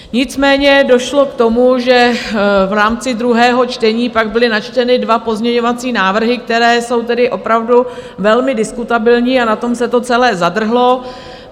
Nicméně došlo k tomu, že v rámci druhého čtení pak byly načteny dva pozměňovací návrhy, které jsou tedy opravdu velmi diskutabilní, a na tom se to celé zadrhlo.